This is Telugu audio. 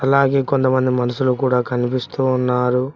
అలాగే కొంతమంది మనుషులు కూడా కనిపిస్తూ ఉన్నారు.